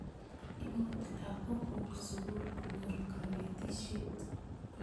Imut lagok kuk sukul konyor kanetisyet.